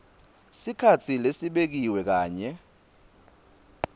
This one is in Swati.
sikhatsi lesibekiwe kanye